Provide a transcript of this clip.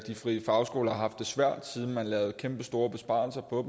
frie fagskoler har haft det svært siden man lavede nogle kæmpestore besparelser på